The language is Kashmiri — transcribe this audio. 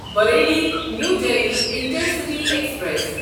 Bareilly new Delhi intercity express